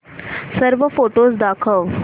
सर्व फोटोझ दाखव